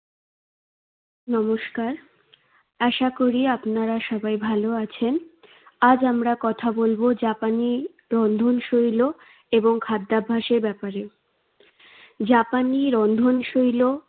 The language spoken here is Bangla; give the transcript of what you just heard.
নমস্কার। আশা করি আপনারা সবাই ভালো আছেন। আজ আমরা কথা বলবো জাপানি রন্ধনশৈল এবং খাদ্যাভ্যাসের ব্যাপারে। জাপানি রন্ধনশৈল